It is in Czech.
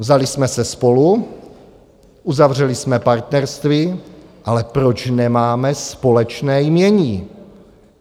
Vzali jsme se spolu, uzavřeli jsme partnerství - ale proč nemáme společné jmění?